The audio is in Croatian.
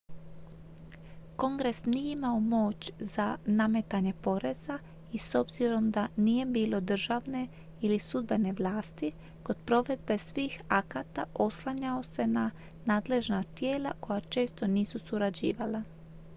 kongres nije imao moć za nametanje poreza i s obzirom da nije bilo državne ili sudbene vlasti kod provedbe svih akata oslanjao se na nadležna tijela koja često nisu surađivala